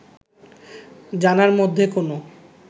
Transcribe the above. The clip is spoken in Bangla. জানার মধ্যে কোনো